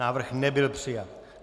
Návrh nebyl přijat.